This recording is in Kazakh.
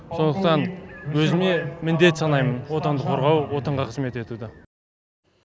сондықтан өзіме міндет санаймын отанды қорғау отанға қызмет етуді